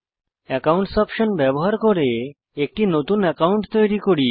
accounts option ব্যবহার করে একটি নতুন অ্যাকাউন্ট বানান